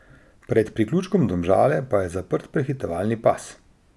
Pred priključkom Domžale pa je zaprt prehitevalni pas.